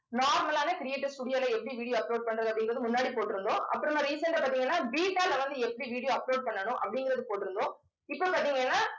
normal ஆன creators studio ல எப்படி video upload பண்றது அப்படிங்கறது முன்னாடி போட்டிருந்தோம். அப்புறமா recent ஆ பாத்தீங்கன்னா வந்து எப்படி video upload பண்ணணும் அப்படிங்கறதை போட்டிருந்தோம் இப்ப பாத்தீங்கன்னா